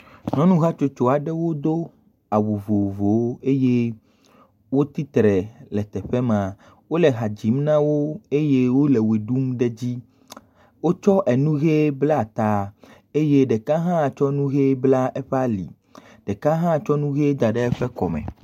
Nyɔnuhatsotso aɖewo do awu vovovowo. Wotsi tre le teƒe ma eye wo le ha dzim na wo eye wo le ʋe ɖum ɖe edzi. Wotsɔ enu ʋi bla ta eye ɖeka tsɔ enu ʋi bla eƒe ali. Ɖeka hã tsɔ nu ʋi daɖe eƒe kɔ me.